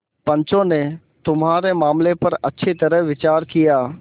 पंचों ने तुम्हारे मामले पर अच्छी तरह विचार किया